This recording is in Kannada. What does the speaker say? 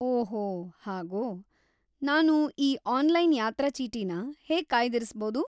ಓಹೋ, ಹಾಗೋ.. ನಾನು ಈ ಆನ್ಲೈನ್‌ ಯಾತ್ರಾ ಚೀಟಿನ ಹೇಗ್ ಕಾಯ್ದಿರಿಸ್ಬೌದು?